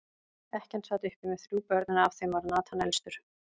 Ekkjan sat uppi með þrjú börn, en af þeim var Nathan elstur.